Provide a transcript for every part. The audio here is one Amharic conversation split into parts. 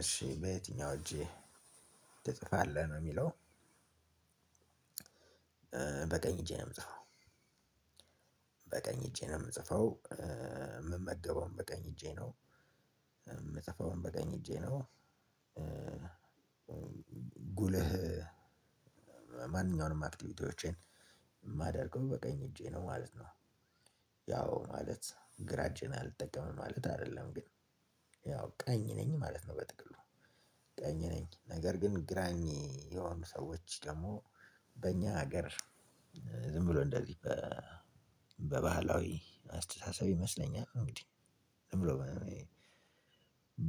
እሺ በየትኛው እጂህ ትጽፋለህ ነው የሚለው? በቀኝ እጄ ነው እምጽፈው። በቀኝ እጄ ነው እምጽፈው የምመገበውም በቀኝ እጄ ነው። እምጽፈውን በቀኝ እጄ ነው። ጉልህ ማንኛውንም አክቲቪቲዎቼን የማደርገው በቀኝ እጄ ነው ማለት ነው። ያው ማለት ግራ እጄን አልጠቀምም ማለት አደለም ግን ያው ቀኝ ነኝ ማለት ነው። በጥቅሉ ቀኝ ነኝ ነገር ግን ግራኝ የሆኑ ሰወች ደግሞ በእኛ ሀገር ዝም ብሎ እንደዚህ በባህላዊ አስተሳሰብ ይመስለኛል። እንግዲህ ዝም ብሎ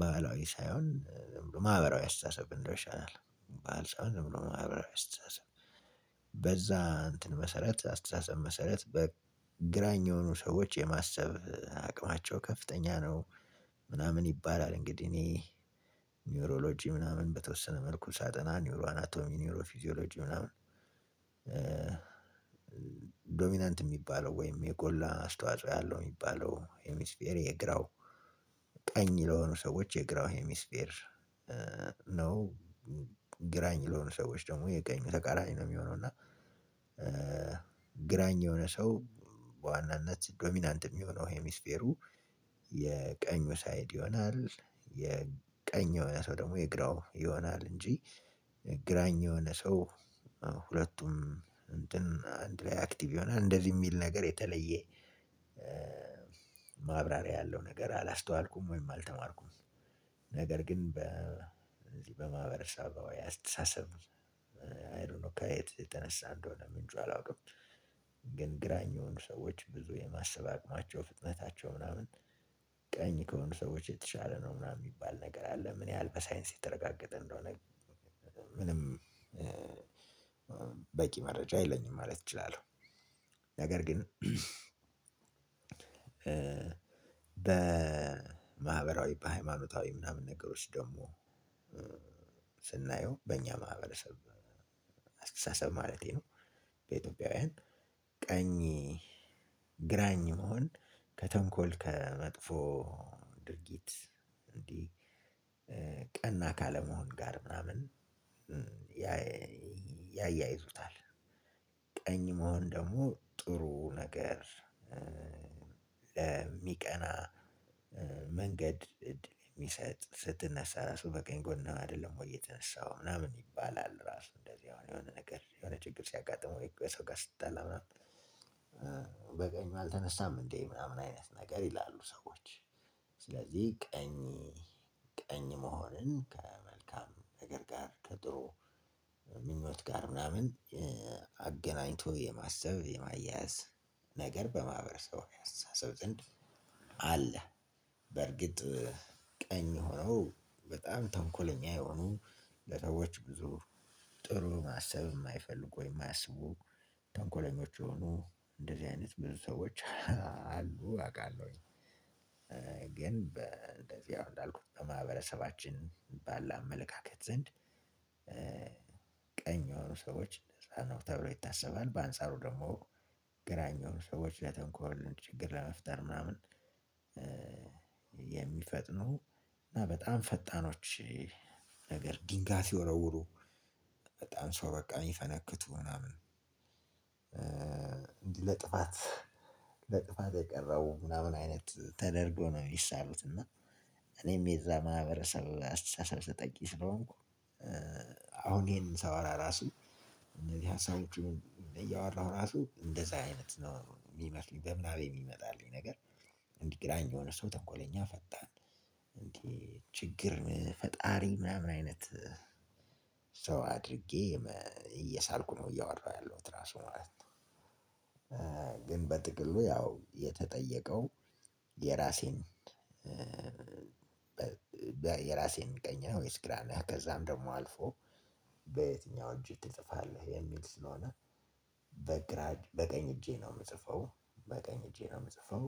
ባህላዊ ሳይሆን ማህበራዊ አስተሳሰብ ብንለው ይሻላል። ባህል ሳይሆን ዝም ብሎ ማህበራዊ አስተሳሰብ በዛ እንትን መሰረት አስተሳሰብ መሰረት ግራኝ የሆኑ ሰወች የማሰብ አቅማቸው ከፍተኛ ነው። ምናምን ይባላል እንግዲህ እኔ ኒውሮሎጂ ምናምን በተወሰነ መልኩ ሳጠና ኒውሮ አናቶሚ ኒውሮ ፊዚዮሎጂ ምናምን። ዶሚናንት የሚባለው ወይም የጎላ አስተዋጽኦ ያለው የሚባለው ኤሚስፌሪ የግራው ቀኝ ለሆኑ ሰዎች የግራው ሄሚስፌር ነው። ግራኝ ለሆኑ ሰዎች ደግሞ የቀኙ ተቃራኒ ነው የሚሆነው እና። ግራኝ የሆነ ሰው በዋናነት ዶሚናንት የሚሆነው ሄሚስፌሩ የቀኙ ሳይድ ይሆናል። የቀኝ የሆነ ሰው ደግሞ የግራው ይሆናል እንጂ ግራኝ የሆነ ሰው ሁለቱም እንትን አንድ ላይ አክቲቭ ይሆናል እንደዚህ የሚል ነገር የተለየ። ማብራሪያ ያለው ነገር አላስተዋልኩም ወይም አልተማርኩም ነገር ግን በዚህ በማህበረሰብ አስተሳሰብ አይ ዶንት ኖ ከየት የተነሳ እንደሆነ ምንጩ አላውቅም። ግን ግራኝ የሆኑ ሰዎች ብዙ የማሰብ አቅማቸው ፍጥነታቸው ምናምን ቀኝ ከሆኑ ሰወች የተሻለ ነው ምናምን የሚባል ነገር አለ ምን ያህል በሳይንስ የተረጋገጠ እንደሆነ ግን? ምንም በቂ መረጃ የለኝም ማለት እችላለሁ። ነገር ግን በማህበራዊ በሃይማኖታዊ ምናምን ነገሮች ደግሞ ስናየው በእኛ ማህበረሰብ አስተሳሰብ ማለቴ ነው። በኢትዮጵያውያን ቀኝ ግራኝ መሆን ከተንኮል ከመጥፎ ድርጊት እንዲህ ቀና ካለመሆን ጋር ምናምን ያያይዙታል። ቀኝ መሆን ደግሞ ጥሩ ነገር ለሚቀና መንገድ የሚሰጥ ስትነሳ ራሱ በቀኝ ጎን አይደለም ወይ የተነሳው ምናምን ይባላል። ራሱ እንደዚህ የሆነ የሆነ ነገር የሆነ ችግር ሲያጋጥመው ከሰው ጋር ስትጣላ ምናምን በቀኙ አልተነሳም እንዴ ምናምን አይነት ነገር ይላሉ ሰወች። ስለዚህ ቀኝ ቀኝ መሆንን ከመልካም ነገር ጋር ከጥሩ ምኞት ጋር ምናምን አገናኝቶ የማሰብ የማያያዝ ነገር በማህበረሰቡ አስተሳሰብ ዘንድ አለ። በርግጥ ቀኝ ሆኖ በጣም ተንኮለኛ የሆኑ ሰወች ብዙ ጥሩ ማሰብ እማይፈልጉ የማያስቡ ተንኮለኞች የሆኑ እንደዚህ አይነት ብዙ ሰዎች አሉ አቃለሁኝ። ግን እንደዚህ አሁን እንዳልኩት በማህበረሰባችን ባለ አመለካከት ዘንድ ቀኝ የሆኑ ሰዎች እንደዛ ነው ተብሎ ይታሰባል። በአንጻሩ ደግሞ ግራኝ የሆኑ ሰዎች ለተንኮል ችግር ለመፍጠር ምናምን የሚፈጥኑ እና በጣም ፈጣኖች። ነገር ድንጋይ ሲወረውሩ በጣም ሰው በቃ የሚፈነክቱ ምናምን እንዲህ ለጥፋት ለጥፋት የቀረው ምናምን አይነት ተደርጎ ነው የሚሳሉት እና። እኔም የዛ ማህበረሰብ አስተሳሰብ ተጠቂ ስለሆንኩ አሁን ይሄንን ሳወራ ራሱ እነዚህ ሀሳቦች እያወራሁ ራሱ እንደዛ አይነት ነው የሚመስሉኝ በምናቤ የሚመጣብኝ ነገር። እንዲህ ግራኝ የሆነ ሰው ተንኮለኛ ፈጣን እንዴ ችግር ፈጣሪ ምናምን አይነት ሰው አድርጌ እየሳልኩ ነው እያወራሁ ያለሁት ራሱ ማለት ነው። ግን በጥቅሉ ያው የተጠየቀው የራሴን የራሴን ቀኝ ነህ ወይስ ግራ ነህ? ከዛም ደግሞ አልፎ በየትኛው እጅ ትጽፋለህ የሚል ስለሆነ። በግራ በቀኝ እጄ ነው እምጽፈው። በቀኝ እጄ ነው የምጽፈው።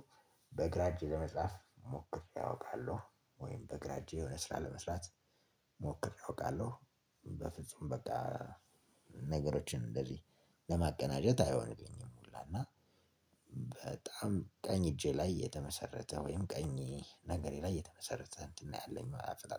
በግራ እጄጸ ለመጻፍ ሞክሬ ያውቃሉ ወይም በግራ እጄ የሆነ ስራ ለመስራት ሞክሬ አውቃለሁ። በፍጹም በቃ ነገሮችን እንደዚህ ለማቀናጀት አይሆንልኝም መላ እና። በጣም ቀኝ እጄ ላይ የተመሰረተ ወይም ቀኝ እግሬ ላይ የተመሰረተ እንትን ነው ያለኝ አሰጣጥ